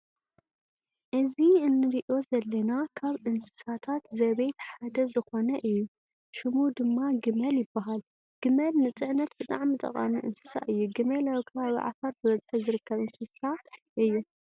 እዚ እንርእዮ ዘለና ካብ እንስሳታት ዘቤት ሓደ ዝኮነ እዩ። ሽሙ ድማ ግመል ይባሃል። ግመል ንፅዕነት ብጣዕሚ ጠቃሚ እንስሳ እዩ። ግመል ኣብ ከባቢ ዓፋር ብብዝሒ ዝርከብ እንስሳ እዩ።